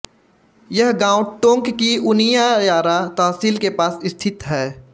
यह गाँव टोंक की उनियारा तहसील के पास स्थित है